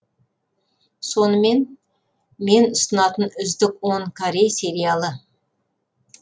сонымен мен ұсынатын үздік он корей сериалы